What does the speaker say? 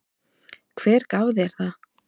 Hver gaf þér það?